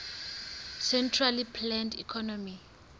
centrally planned economy